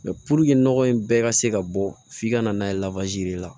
nɔgɔ in bɛɛ ka se ka bɔ f'i ka na n'a ye la